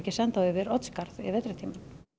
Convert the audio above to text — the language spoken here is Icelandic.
senda þau yfir Oddsskarð yfir vetrartímann